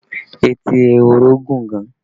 Etí ehoro gùn gan